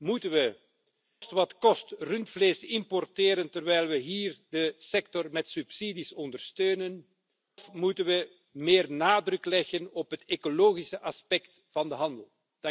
Moeten we koste wat kost rundvlees importeren terwijl we hier de sector met subsidies ondersteunen of moeten we meer nadruk leggen op het ecologische aspect van de handel?